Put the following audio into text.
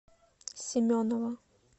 семенова